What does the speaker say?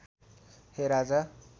हे राजा